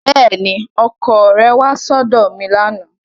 Bẹ́ẹ̀ni, ọkọ rẹ kò wá sí ọ̀dọ̀ mi lánàá